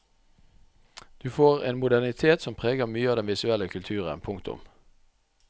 Du får en modernitet som preger mye av den visuelle kulturen. punktum